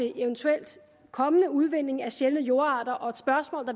en eventuelt kommende udvinding af sjældne jordarter og de spørgsmål